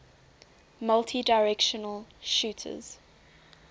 multidirectional shooters